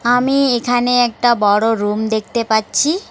আমি এখানে একটা বড় রুম দেখতে পাচ্ছি।